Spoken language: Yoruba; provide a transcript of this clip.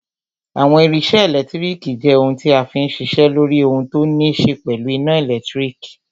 Àwọn irinṣẹ́ ẹlẹtíríkì jẹ́ ohun tí a fí n ṣiṣẹ́ lóri ohun tó ní ṣe pẹ̀lú iná ẹ̀lẹ́tírík.